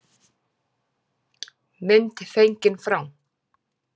Mynd fengin frá